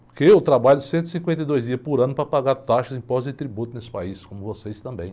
Porque eu trabalho cento e cinquenta e dois dias por ano para pagar taxas de impostos e tributos nesse país, como vocês também.